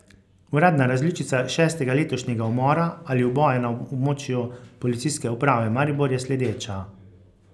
Uradna različica šestega letošnjega umora ali uboja na območju Policijske uprave Maribor je sledeča.